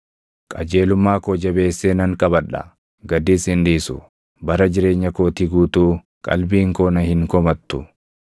Qajeelummaa koo jabeessee nan qabadha; gadis hin dhiisu; bara jireenya kootii guutuu qalbiin koo na hin komattu.